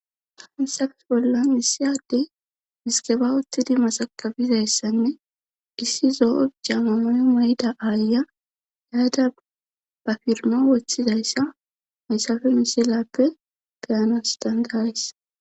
hansafes bollan missiyadey miskeba uttidi masakabizayssanne issi zo7o jamano moyda aaya yaada ba firmo woththizayssa maysafe misilappe gayanas dangarays